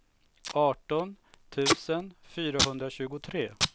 arton tusen fyrahundratjugotre